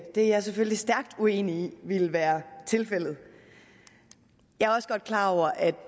er jeg selvfølgelig stærkt uenig i ville være tilfældet jeg er også godt klar over at